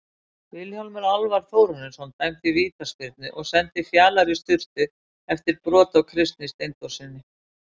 Vilhjálmur Alvar Þórarinsson dæmdi vítaspyrnu og sendi Fjalar í sturtu eftir brot á Kristni Steindórssyni.